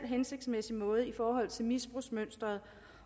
hensigtsmæssig måde i forhold til misbrugsmønsteret